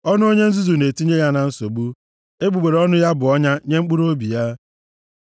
Ọnụ onye nzuzu na-etinye ya na nsogbu, egbugbere ọnụ ya bụ ọnya nye mkpụrụobi ya.